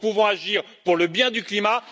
Nous pouvons agir pour le bien du climat.